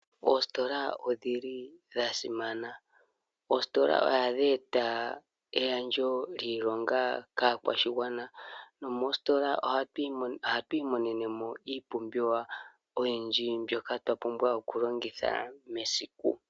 Oositola odhili dha simana. Oositola ohadhi eta egandjo lyiilonga kaakwashigwana nomoositola ohatu imonene mo iipumbiwa oyindji mbyoka twa pumbwa oku longitha mesiku.